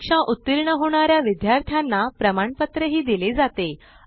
परीक्षा उत्तीर्ण होणाऱ्या विद्यार्थ्यांना प्रमाणपत्र दिले जाते